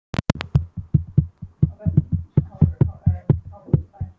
Teikning af þessari múnderingu fylgdi bréfinu.